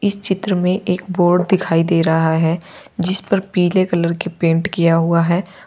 इस चित्र में एक बोर्ड दिखाई दे रहा है जिस पर पीले कलर के पेंट किया हुआ है।